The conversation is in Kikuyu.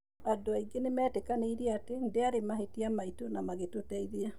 Andũ aingĩ nĩmetĩkanĩire atĩ ndĩarĩ mahĩtia maitũ na magĩtũteithia.